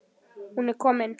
Hún er komin,